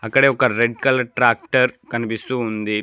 ఇక్కడే ఒక red colour tractor కనిపిస్తూ ఉంది.